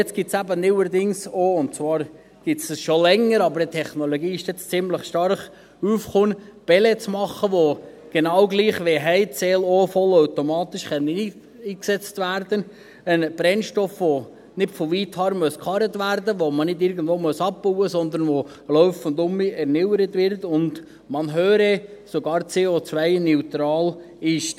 Jetzt gibt es aber neuerdings – und zwar gibt es dies schon länger, aber die Technologie ist jetzt ziemlich stark aufgekommen – auch Pellets, die genau gleich wie Heizöl vollautomatisch eingesetzt werden können: ein Brennstoff, der nicht von weither angekarrt werden muss, den man nicht irgendwo abbauen muss, sondern der laufend erneuert wird und – man höre – per Definition sogar CO-neutral ist.